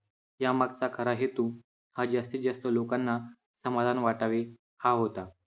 यामागचा खरा हेतू हा जास्तीत जास्त लोकांना समाधान वाटावे, हा होता.